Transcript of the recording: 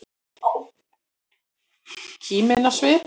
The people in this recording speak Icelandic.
Kímin á svip.